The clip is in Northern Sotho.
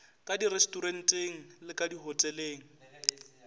ka direstoranteng le ka dihoteleng